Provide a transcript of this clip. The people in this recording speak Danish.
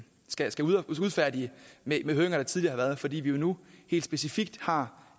skal udfærdige med høringer der tidligere har været fordi vi jo nu helt specifikt har